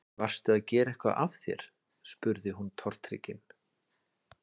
Varstu að gera eitthvað af þér? spurði hún tortryggin.